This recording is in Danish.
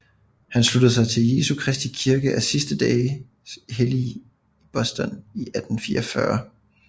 Han sluttede sig til Jesu Kristi Kirke af Sidste Dages Hellige i Boston i 1844